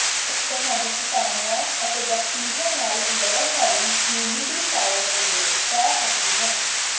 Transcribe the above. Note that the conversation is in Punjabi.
ਤੁਹਾਨੂੰ ਕੀਟਾਣੂਆਂ ਅਤੇ ਬੈਕਟੀਰੀਆ ਨਾਲ ਲੜਨ ਵਾਲੀ ਹਿਊਮਿਡੀਫਾਇਰ ਦੀ ਲੋੜ ਪੈ ਸਕਦੀ ਹੈ